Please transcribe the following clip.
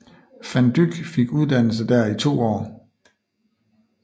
Van Dyck fik uddannelse dér i to år